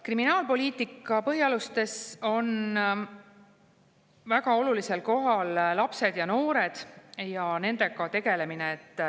Kriminaalpoliitika põhialustes on väga olulisel kohal lapsed ja noored ning nendega tegelemine.